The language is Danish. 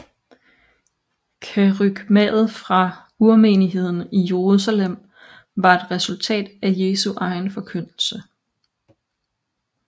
Kerygmaet fra urmenigheden i Jerusalem var et resultat af Jesu egen forkyndelse